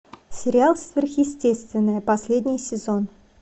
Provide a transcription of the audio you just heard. сериал сверхъестественное последний сезон